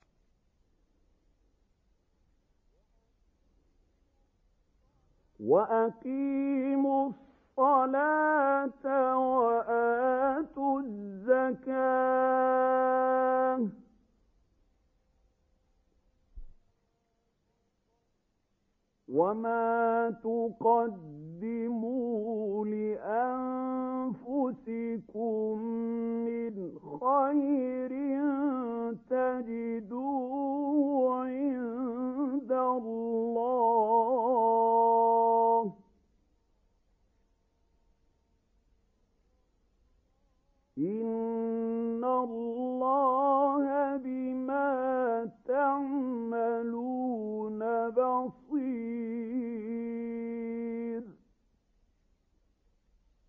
وَأَقِيمُوا الصَّلَاةَ وَآتُوا الزَّكَاةَ ۚ وَمَا تُقَدِّمُوا لِأَنفُسِكُم مِّنْ خَيْرٍ تَجِدُوهُ عِندَ اللَّهِ ۗ إِنَّ اللَّهَ بِمَا تَعْمَلُونَ بَصِيرٌ